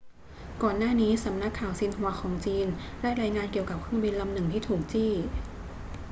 ก่อนหน้านี้ สำนักข่าวซินหัวของจีนได้รายงานเกี่ยวกับเครื่องบินลำหนึ่งที่ถูกจี้